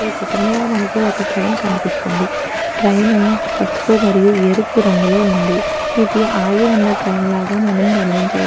ఈ చిత్రంలో మనకి ఒక్క ట్రెయిన్ కనిపిస్తుంది ట్రెయిన్ పసుపు మరియు ఎరుపు రంగులో ఉంది ఇది ఆగివున్న ట్రెయిన్ లాగా మనం గమనించవ --